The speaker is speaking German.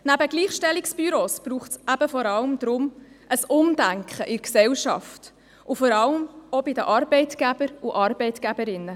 Neben Gleichstellungsbüros braucht es vor allem ein Umdenken in der Gesellschaft, insbesondere bei den Arbeitgebern und Arbeitgeberinnen.